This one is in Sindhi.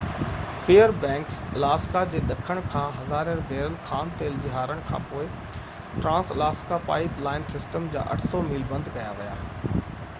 فيئر بئنڪز الاسڪا جي ڏکڻ کان هزارين بيرل خام تيل جي هارڻ کان پوءِ ٽرانس-الاسڪا پائپ لائن سسٽم جا 800 ميل بند ڪيا ويا